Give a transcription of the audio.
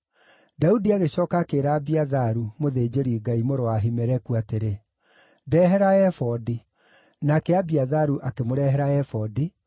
Daudi agĩcooka akĩĩra Abiatharu, mũthĩnjĩri-Ngai, mũrũ wa Ahimeleku atĩrĩ, “Ndeehera ebodi.” Nake Abiatharu akĩmũrehera ebodi,